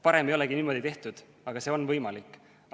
Varem ei olegi niimoodi tehtud, aga see on võimalik.